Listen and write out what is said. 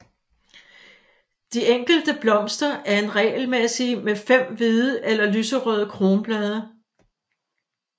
De enkelte blomster er regelmæsssige med 5 hvide eller lyserøde kronblade